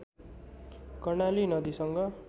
कर्णाली नदीसँग